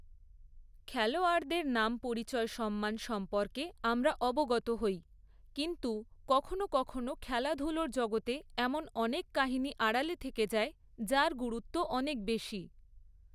খেলোয়াড়দের নাম পরিচয় সম্মান সম্পর্কে আমরা অবগত হই, কিন্তু কখনও কখনও খেলাধুলোর জগতে এমন অনেক কাহিনি আড়ালে থেকে যায়, যার গুরুত্ব অনেক বেশি।